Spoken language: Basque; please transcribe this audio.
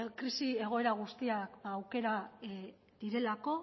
krisi egoera guztia aukera direlako